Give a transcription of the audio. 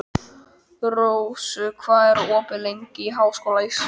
Rós, hvað er opið lengi í Háskóla Íslands?